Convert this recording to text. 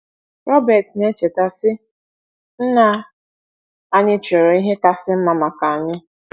Robert na - echeta, sị: “ Nna anyị chọrọ ihe kasị mma maka anyị.